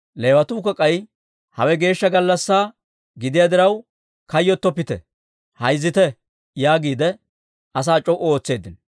Leewatuukka k'ay, «Hawe geeshsha gallassaa gidiyaa diraw, kayyottoppite; hayzzite» yaagiide asaa c'o"u ootseeddino.